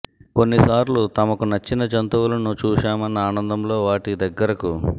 కొన్ని సార్లు తమకు నచ్చిన జంతువులను చూశామన్న ఆనందంలో వాటి దగ్గరకు